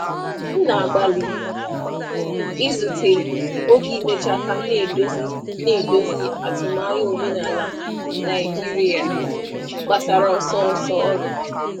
Ana um m agbalị igbochi oge ọrụ ka m na-ahazi atụmanya omenala Naịjirịa banyere ọsọ ọrụ.